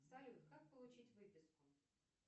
салют как получить выписку